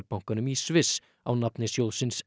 bankanum í Sviss á nafni sjóðsins